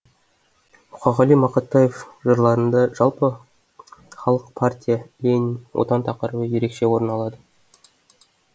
мұқағали мақатаев жырларында жалпы халық партия ленин отан тақырыбы ерекше орын алады